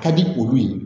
Ka di olu ye